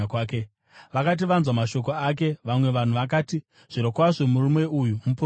Vakati vanzwa mashoko ake, vamwe vanhu vakati, “Zvirokwazvo murume uyu muprofita.”